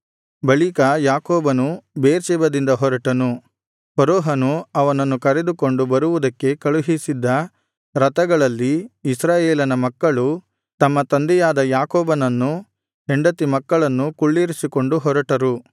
ಬಳಿಕ ಯಾಕೋಬನು ಬೇರ್ಷೆಬದಿಂದ ಹೊರಟನು ಫರೋಹನು ಅವನನ್ನು ಕರೆದುಕೊಂಡು ಬರುವುದಕ್ಕೆ ಕಳುಹಿಸಿದ್ದ ರಥಗಳಲ್ಲಿ ಇಸ್ರಾಯೇಲನ ಮಕ್ಕಳು ತಮ್ಮ ತಂದೆಯಾದ ಯಾಕೋಬನನ್ನೂ ಹೆಂಡತಿ ಮಕ್ಕಳನ್ನೂ ಕುಳ್ಳಿರಿಸಿಕೊಂಡು ಹೊರಟರು